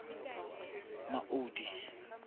maudi